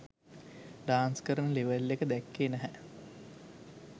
Dance කරන level එක දැක්කේ නැහැ.